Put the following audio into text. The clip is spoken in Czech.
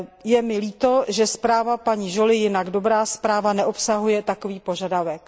Je mi líto, že zpráva paní Jolyové, jinak dobrá zpráva, neobsahuje takový požadavek.